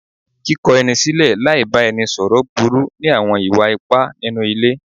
Kíkọ ẹni sílẹ̀ láì bá ẹni sọ̀rọ̀ burú ní àwọn ìwà ipá nínú ilé.